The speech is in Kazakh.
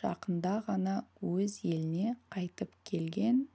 жақында ғана өз еліне қайтып келген